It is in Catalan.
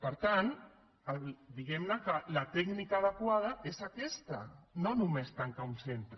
per tant diguem que la tècnica adequada és aquesta no només tancar un centre